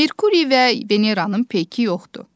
Merkuri və Veneranın peyki yoxdur.